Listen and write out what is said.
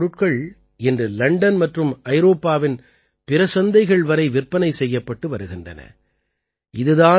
இவர்களுடைய பொருட்கள் இன்று லண்டன் மற்றும் ஐரோப்பாவின் பிற சந்தைகள் வரை விற்பனை செய்யப்பட்டு வருகின்றன